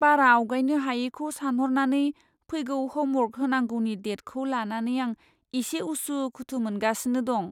बारा आवगायनो हायैखौ सानहरनानै फैगौ ह'मवर्क होनांगौनि डेटखौ लानानै आं इसे उसु खुथु मोनगासिनो दं।